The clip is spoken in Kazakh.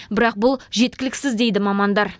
бірақ бұл жеткіліксіз дейді мамандар